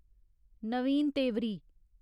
Naveen Tewari